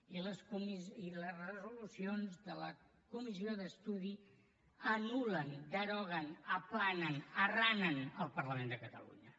i les resolucions de la comissió d’estudi anul·len deroguen aplanen arranen el parlament de catalunya